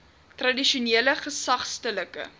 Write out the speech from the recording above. tradisionele gesag stedelike